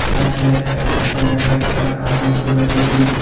সাইডে একটা হেডফোন একটা ক্যারেমা দেখতে পাইতেছি।